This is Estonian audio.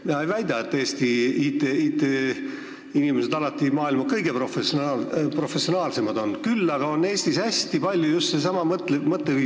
Ma ei väida, et Eesti IT-inimesed alati maailma kõige professionaalsemad on, küll aga on Eestis hästi palju just seda mõtteviisi.